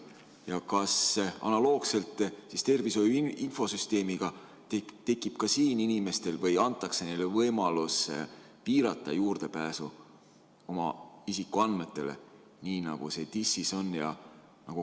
Ja kas analoogselt tervishoiu infosüsteemiga tekib ka seal inimestel võimalus piirata juurdepääsu oma isikuandmetele, nii nagu see TIS-is on?